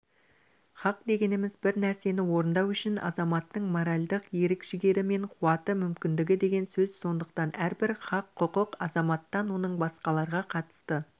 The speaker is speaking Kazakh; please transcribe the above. хақ дегеніміз бір нәрсені орындау үшін азаматтың моральдық ерік-жігері мен қуаты мүмкіндігі деген сөз сондықтан әрбір хақ-құқық азаматтан оның басқаларға қатысты